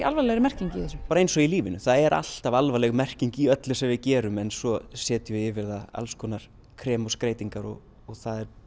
alvarlegri merking í þessu bara eins og í lífinu það er alltaf alvarleg merking í öllu sem við gerum en svo setjum við yfir það alls konar krem og skreytingar og það er